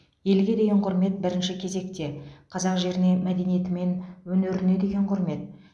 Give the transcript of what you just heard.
елге деген құрмет бірінші кезекте қазақ жеріне мәдениеті мен өнеріне деген құрмет